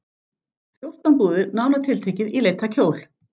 Fjórtán búðir, nánar tiltekið, í leit að kjól.